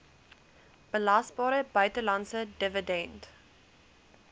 belasbare buitelandse dividend